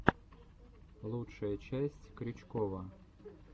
лучшая часть крючкова